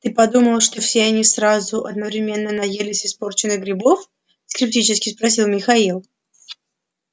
ты подумал что все они сразу одновременно наелись испорченных грибов скептически спросил михаил